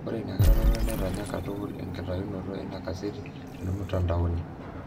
Ore ina kiroroto netanya katukul enkitayunoto eina kaseti tomutandaoni.